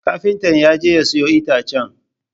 Kafinta ya je ya sayo itacen.